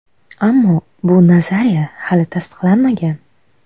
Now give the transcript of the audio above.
Ammo bu nazariya hali tasdiqlanmagan.